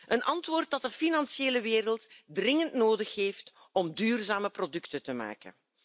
Een antwoord dat de financiële wereld dringend nodig heeft om duurzame producten te maken.